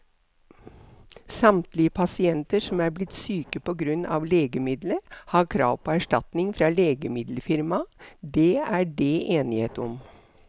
Samtlige pasienter som er blitt syke på grunn av legemiddelet, har krav på erstatning fra legemiddelfirmaet, det er det enighet om.